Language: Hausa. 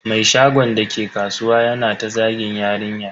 Mai shagon dake kasuwa yana ta zagin yarinyar.